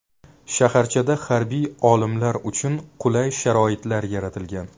Shaharchada harbiy olimlar uchun qulay sharoitlar yaratilgan.